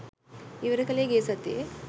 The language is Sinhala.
ඉවර කළේ ගිය සතියේ